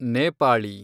Nepali